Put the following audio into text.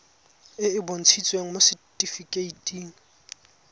e e bontshitsweng mo setifikeiting